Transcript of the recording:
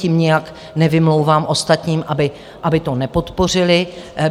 Tím nijak nevymlouvám ostatním, aby to nepodpořili .